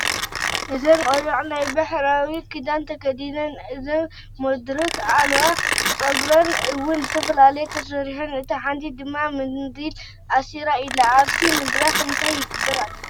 እዘን ቆልዑ ናይ ባሕላዊ ክዳን ተክዲነን ኣብ ዝኮን ምድርክ ኣልዋ ፀጉረን እዉን ዝተፈላለየ ተስሪሓን እታ ሓንቲ ድማ ምንዲል እሲራ ኣላ ኣብቲ ምድርኽ እንታ ይግብራ ኣልዋ ?